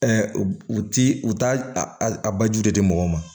u ti u t'a a baju de di mɔgɔw ma